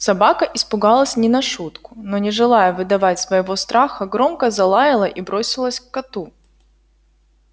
собака испугалась не на шутку но не желая выдавать своего страха громко залаяла и бросилась к коту